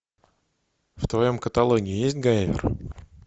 в твоем каталоге есть гайвер